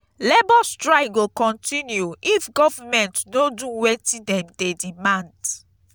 labour strike go continue if government no do wetin dem dey demand.